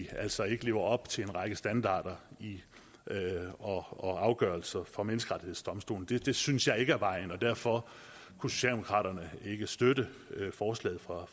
altså ikke lever op til en række standarder og afgørelser fra menneskerettighedsdomstolen det synes jeg ikke er vejen frem og derfor kunne socialdemokraterne ikke støtte forslaget fra